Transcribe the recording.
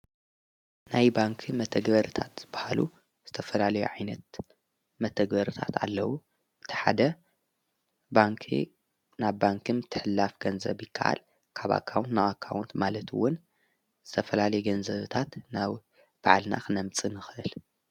ናይ ባንክ መተግበርታት በሃሉ ዝተፈላሌ ኣይነት መተግበርታት ኣለዉ እተሓደ ን ናብ ባንክም ትሕላፍ ገንዘብይከዓል ካባካውን ነዋካውንት ማለትውን ዘተፈላሌ ገንዘብታት ናብ በዓልናኽነምፂ ንኽል።